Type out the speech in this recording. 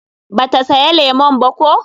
ba ta saya lemun ba ko?